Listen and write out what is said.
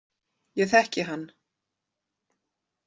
Ég þekki hann.